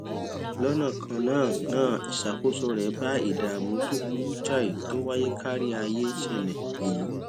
lónà kan náà náà ìṣàkóso rè bá ìdààmú tó burú jáì tó wáyé kárí ayé ṣẹlè èyí